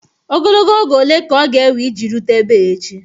Ogologo oge ole ka ọ ga-ewe iji rute ebe a echi?